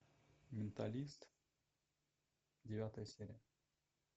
менталист девятая серия